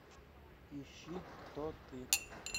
ищи кто ты